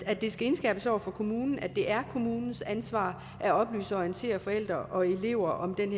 at det skal indskærpes over for kommunen at det er kommunens ansvar at oplyse og orientere forældre og elever om den